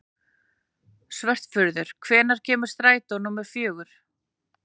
Svörfuður, hvenær kemur strætó númer fjögur?